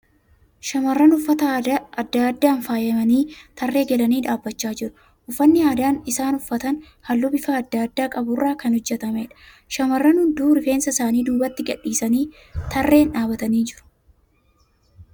Shamarran uffata aadaa aadaan faayamanii tarree galanii dhaabbachaa jiru. Uffanni aadaa isaan uffatan halluu bifa adda addaa qabu irraa kan hojjatameedha. Shamarran hunduu rifeensa isaanii duubatti gadhiisanii tarreen dhaabbatanii jiru.